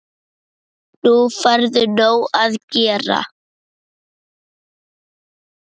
Nú færðu nóg að gera